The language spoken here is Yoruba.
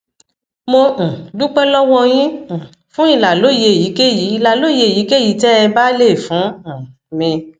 mo um dúpẹ lọwọ yín um fún ìlàlóye èyíkéyìí ìlàlóye èyíkéyìí tẹ ẹ bá lè fún um mi